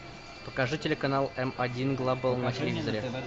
покажи телеканал м один глобал на телевизоре